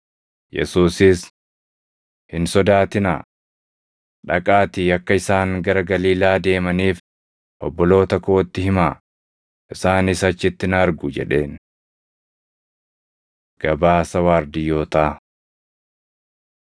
Yesuusis, “Hin sodaatinaa! Dhaqaatii akka isaan gara Galiilaa deemaniif obboloota kootti himaa; isaanis achitti na argu” jedheen. Gabaasa Waardiyyootaa